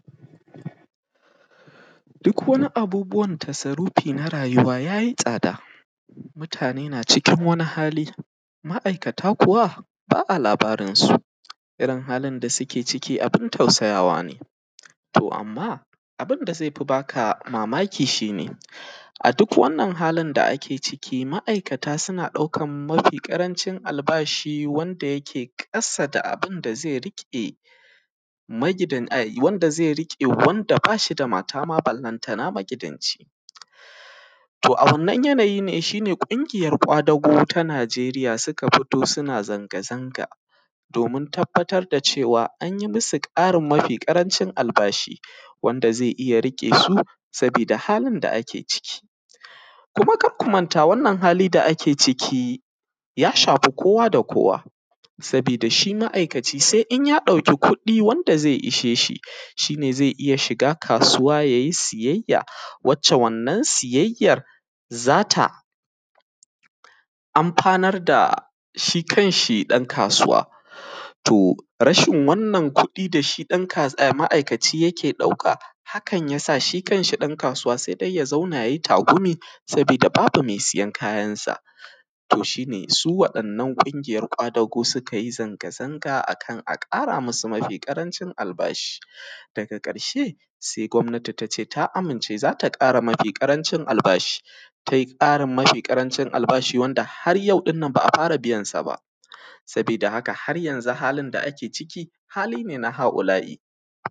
Duk wani abubuwan tasarufi na rayuwa, ya yi tsada, mutane na cikin wani hali, ma’aikata kuwa, ba a labarin su. Irin halin da suke ciki abin tausayawa ne, to amma, abin da zai fi b aka mamaki shi ne, a duk wannan halin da ake ciki, ma’aikata suna ɗaukan mafi ƙarancin albashi wanda yake ƙasa da abin da ze riƙe magidan ai; wanda zai riƙe wanda ba shi da mata ma ballantana magidanci. To, a wannan yanayi ne, shi ne ƙungiyar ƙwadago ta Najeriya suna fito suna zangazanga domin tabbatar da cewa an yi musu ƙarin mafi ƙarancin albashi, wanda ze iya riƙe su, sabida halin da ake ciki. Kuma kak ku manta wannan hali da ke ciki ya shafi kowa da kowa, sabida shi ma’aikaci se in ɗauki kuɗɗi wanda ze ishe shi, shi ne ze iya shiga kasuwa ya yi siyayya wacce wannan siyayyar za ta amfanar da shi kanshi ɗankasuwa. To, rashin wannan kuɗi da shi ɗanka; ah ma’aikaci yake ɗauka, hakan ya sa shi kanshi ɗankasuwa se dai ya zauna ya yi tagumi, sabida babu me siyan kayansa. To, shi ne su waɗannan ƙungiyar ƙwadago suka yi zangazanga a kan a ƙara musu mafi ƙarancin albashi. Daga ƙarshe, se gwabnati ta ce ta amince za ta ƙara mafi ƙarancin albashi. Tai ƙarin mafi ƙarancin albashi wanda har yau ɗin nan ba a fara biyan sa ba, sabida haka, har yanzu halin da ake ciki, hali ne na ha’ula’i.